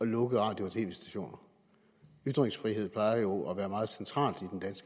lukke radio og tv stationer ytringsfrihed plejer jo at være meget centralt